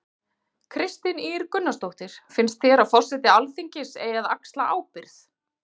Kristín Ýr Gunnarsdóttir: Finns þér að forseti Alþingis eigi að axla ábyrgð?